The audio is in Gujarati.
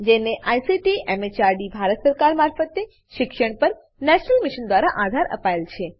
જેને આઈસીટી એમએચઆરડી ભારત સરકાર મારફતે શિક્ષણ પર નેશનલ મિશન દ્વારા આધાર અપાયેલ છે